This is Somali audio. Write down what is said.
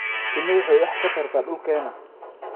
Shinnidu waxay wax ka tarta dhulkeena.